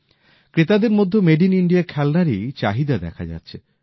ক্রেতাদের মধ্যেও India made খেলনারই চাহিদা দেখা যাচ্ছে